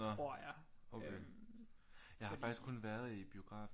Nå okay jeg har faktisk kun været i biografen